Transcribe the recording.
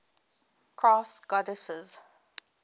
crafts goddesses